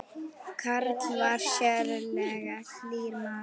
Karl var sérlega hlýr maður.